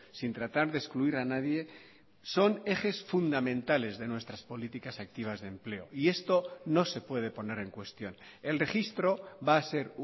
sin tratar de excluir a nadie son ejes fundamentales de nuestras políticas activas de empleo y esto no se puede poner en cuestión el registro va a ser